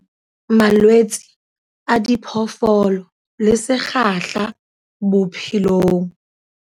Malwetse a diphoofolo le sekgahla bophelong.